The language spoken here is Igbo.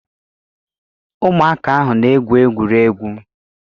Ụmụaka ahụ na-egwu egwuregwu.